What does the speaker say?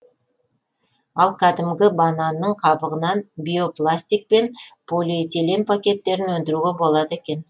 ал кәдімгі бананның қабығынан биопластик пен полиэтилен пакеттерін өндіруге болады екен